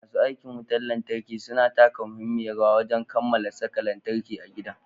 Masu aikin wutar lantarki suna taka muhimmiyar rawar wajan kammala saka lantarki a gidan.